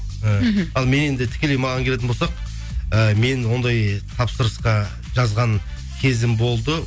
і мхм ал мен енді тікелей маған келетін болсақ і мен ондай тапсырысқа жазған кезім болды